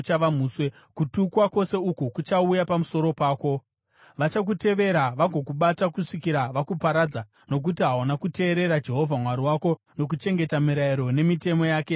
Kutukwa kwose uku kuchauya pamusoro pako. Vachakutevera vagokubata kusvikira vakuparadza, nokuti hauna kuteerera Jehovha Mwari wako nokuchengeta mirayiro nemitemo yake yaakakupa.